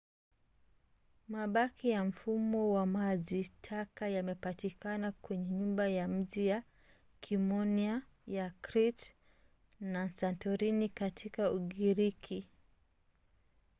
mabaki ya mfumo wa maji taka yamepatikana kwenye nyumba za miji ya kiminoa ya crete na santorini katika ugiriki